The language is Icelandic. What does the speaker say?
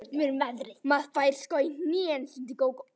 Maður fær sko í hnén, stundi Gógó.